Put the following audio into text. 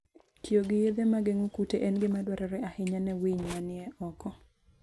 Tiyo gi yedhe ma geng'o kute en gima dwarore ahinya ne winy manie oko.